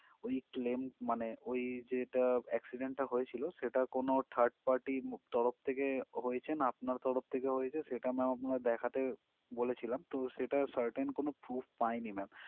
ওই claim মানে ওই যেটা accident টা হয়েছিল সেটা কোনো third party তরফ থেকে হয়েছে না আপনার তরফ থেকে হয়েছে সেটা ma'am আমরা দেখাতে বলেছিলাম কিন্তু সেটার certain কোনো proof পাইনি ma'am